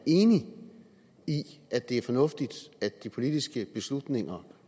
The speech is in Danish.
enig i at det er fornuftigt at de politiske beslutninger